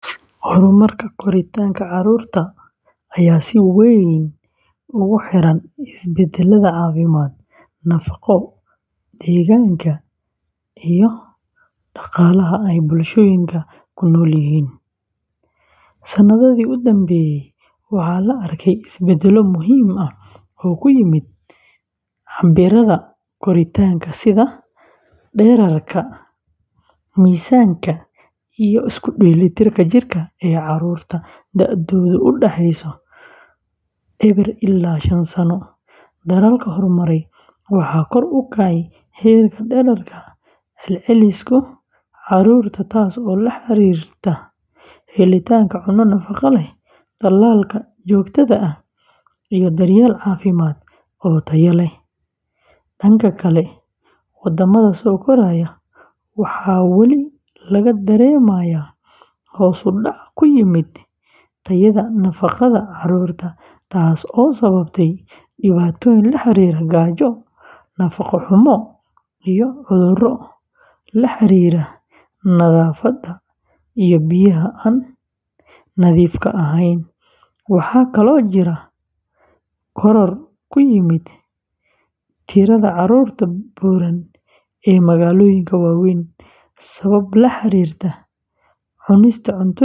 Horumarka koritaanka carruurta ayaa si weyn ugu xiran isbeddellada caafimaad, nafaqo, deegaanka iyo dhaqaalaha ee bulshooyinka ay ku nool yihiin. Sanadihii u dambeeyey, waxaa la arkay isbeddello muhiim ah oo ku yimid cabbirrada koritaanka sida dhererka, miisaanka iyo isku dheelitirka jirka ee carruurta da’doodu u dhexeyso eweer ilaa shaan sano. Dalalka horumaray waxaa kor u kacay heerka dhererka celceliska carruurta taasoo la xiriirta helitaanka cunto nafaqo leh, tallaalka joogtada ah, iyo daryeel caafimaad oo tayo leh. Dhanka kale, waddamada soo koraya, waxaa weli laga dareemayaa hoos u dhac ku yimid tayada nafaqada carruurta taasoo sababtay dhibaatooyin la xiriira gaajo, nafaqo-xumo, iyo cudurro la xiriira nadaafadda iyo biyaha aan nadiifka ahayn. Waxaa kaloo jira koror ku yimid tirada carruurta buuran ee magaalooyinka waaweyn sabab la xiriirta cunista cuntooyin degdeg ah.